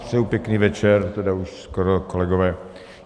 Přeji pěkný večer, tedy už skoro, kolegové.